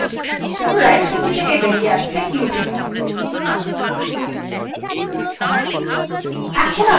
পুনরায় সূচী থেকে বাইরে আসতে q টিপুন